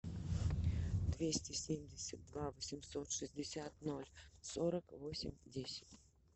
двести семьдесят два восемьсот шестьдесят ноль сорок восемь десять